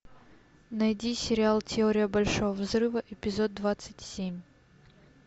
найди сериал теория большого взрыва эпизод двадцать семь